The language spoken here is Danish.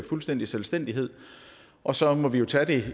fuldstændig selvstændighed og så må vi jo tage det